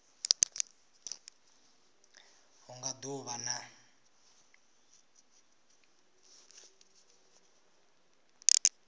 hu nga do vha na